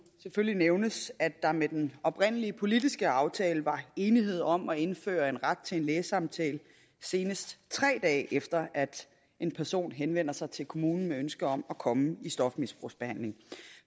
selvfølgelig nævnes at der med den oprindelige politiske aftale var enighed om at indføre en ret til en lægesamtale senest tre dage efter at en person henvender sig til kommunen med ønske om at komme i stofmisbrugsbehandling